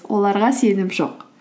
оларға сенім жоқ